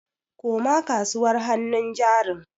Koma kasuwar hannun jarin.